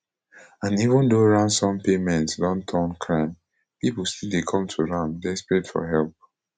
and even though ransom payments don turn crime pipo still dey come to am desperate for help